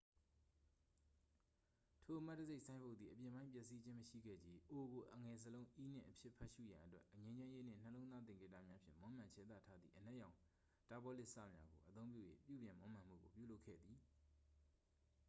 "ထိုအမှတ်တံဆပ် ဆိုင်းဘုတ်သည် အပြင်ပိုင်း ပျက်စီးခြင်းမရှိခဲ့ချေ၊ "o" ကို အငယ်စာလုံး "e" နှင့် အဖြစ်ဖတ်ရှုရန်အတွက် ငြိမ်းချမ်းရေးနှင့် နှလုံးသား သင်္ကေတများဖြင့် မွမ်းမံခြယ်သထားသည့် အနက်ရောင် တာပေါ်လင်စများကို အသုံးပြု၍ ပြုပြင်မွမ်းမံမှုကို ပြုလုပ်ခဲ့သည်။